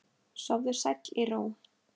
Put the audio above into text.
Sofðu sæll í ró.